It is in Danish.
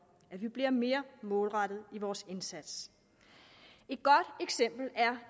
vi bliver mere målrettede i vores indsats et godt eksempel er